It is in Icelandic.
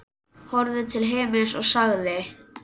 Horfði til himins og sagði: